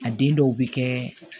A den dɔw bɛ kɛ